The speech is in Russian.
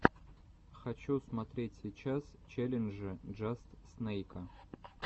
хочу смотреть сейчас челленджи джаст снэйка